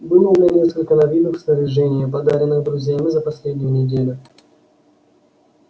было у меня несколько новинок в снаряжении подаренных друзьями за последнюю неделю